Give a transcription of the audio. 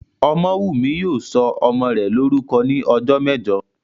Ọmọ́wùnmí yóò sọ ọmọ rẹ̀ lórúkọ ní ọjọ́ mẹ́jọ